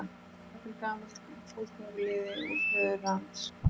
Jafnvel gamall fótgönguliði úr föðurlands